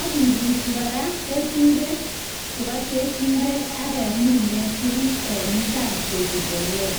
ak kibuchi koraa Nebo ngechirek akeminen tuguk en imbar koik imbolea